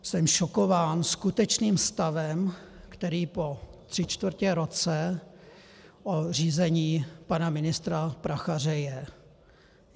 Jsem šokován skutečným stavem, který po tři čtvrtě roce řízení pana ministra Prachaře je.